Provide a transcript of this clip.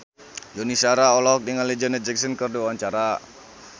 Yuni Shara olohok ningali Janet Jackson keur diwawancara